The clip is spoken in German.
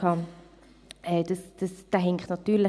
Dieser hinkt natürlich.